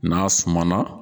N'a suman na